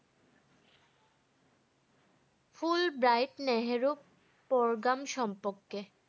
Full bright Nehru program সমপক্ষে